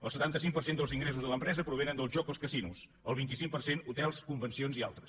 el setanta cinc per cent dels ingressos de l’empresa provenen del joc als casinos el vint cinc per cent hotels convencions i altres